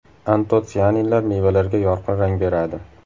Antotsianinlar mevalarga yorqin rang beradi.